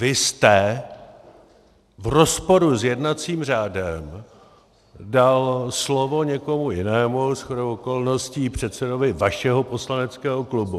Vy jste v rozporu s jednacím řádem dal slovo někomu jinému, shodou okolností předsedovi vašeho poslaneckého klubu.